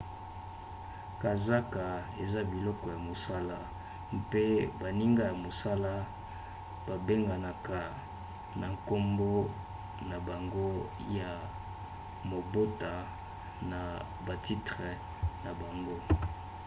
kazaka eza biloko ya mosala mpe baninga ya mosala babenganaka na nkombo na bango ya mobota na batitre na bango